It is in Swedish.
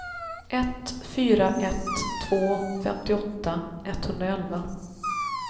ett fyra ett två femtioåtta etthundraelva